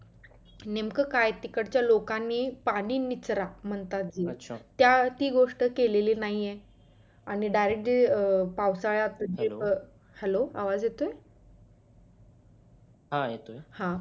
नेमकं काय तिकडच्या लोकांनी पाणी निचरा म्हणतात त्या ती गोष्ट केलेली नाही आहे आणि direct पावसाळयात जी अं hello आवाज येतोय